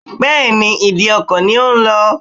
Bẹ́ẹ̀ni, ìdíkọ̀ ni ó ń lọ